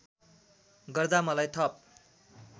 गर्दा मलाई थप